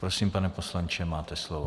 Prosím, pane poslanče, máte slovo.